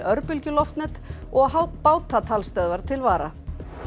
örbylgjuloftnet og til vara